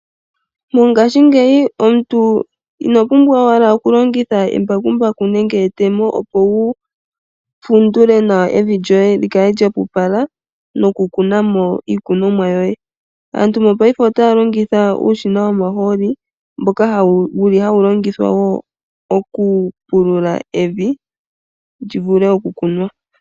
Mongashingeyi omuntu ino pumbwa owala oku longitha embakumbaku nenge etemo opo wu fundule nawa evi lyoye lyi kale lya opala noku kunamo iikunomwa yoye. Aantu mopaife otaya longitha uushina womahooli mboka wuli hawu longithwa wo oku pulula evi, lyi vule oku kunwa.